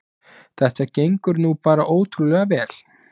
Þetta gengur nú bara ótrúlega vel